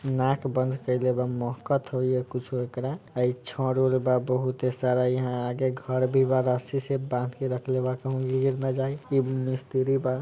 नाक बंद केएले बा महकत होई या कुछो एकरा ए छड़ उड़ बा बहुते सारा यहां आगे घर भी बा रस्सी से बांध रखले बा कहू गिर ना जाई इ मिस्त्री बा।